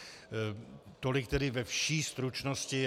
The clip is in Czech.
Tolik tedy ve vší stručnosti.